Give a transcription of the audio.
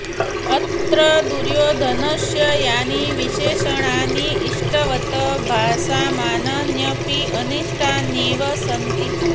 अत्र दुयोधनस्य यानि विशेषणानि इष्टवत् भासमानान्यपि अनिष्ठान्येव सन्ति